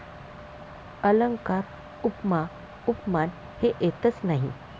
अलंकार, उपमा, उपमान हे येतच नाही.